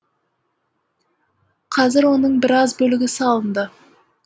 қазір оның біраз бөлігі салынды